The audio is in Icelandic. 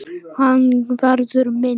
Hans verður minnst.